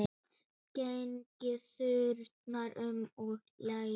Gengið þarna um og leiðst.